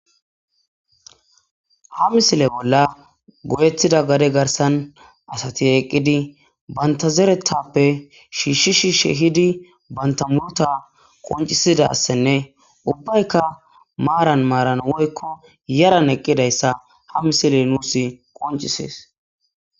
Ha misile bolla goyettida gadde garssan asati eeqidi bantta zereththappe shishshi shishshi ehidi bantta muurutta qonccisidasinne uibbaykka maaran maaran woykko yaaran eqidaysa ha misiley nuus qonccisees